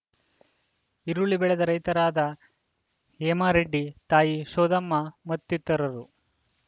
ಈರುಳ್ಳಿ ಬೆಳೆದ ರೈತರಾದ ಹೇಮರೆಡ್ಡಿ ತಾಯಿ ಯಶೋಧಮ್ಮ ಮತ್ತಿತರರು